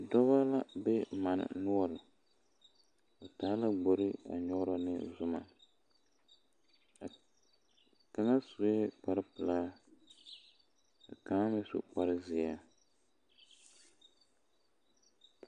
Dɔbɔ la be manne noɔre ba taa la gbori a nyɔgrɔ ne zuma kaŋa sue kparepelaa ka kaŋa meŋ su kpare zeɛ.